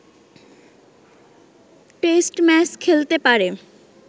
test match খেলতে পারে